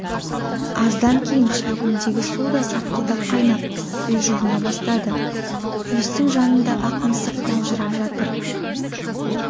аздан кейін шәугімдегі су да сарқылдап қайнап үй жылына бастады пештің жанында ақ мысық маужырап жатыр